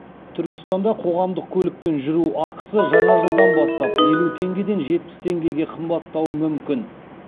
түркістанда қоғамдық көлікпен жүру ақысы жаңа жылдан бастап елу теңгеден жетпіс теңгеге қымбаттауы мүмкін